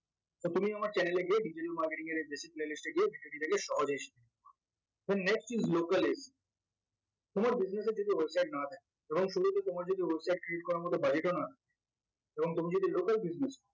তা তুমি আমার channel এ গিয়ে digital marketing এর এই basic playlist এ গিয়ে video টি দেখে সহজেই এখন next তোমার business এ যদি website না থাকে এবং শুরুতে তোমার যদি website create করার মতন budget ও না থাকে এবং তুমি যদি local business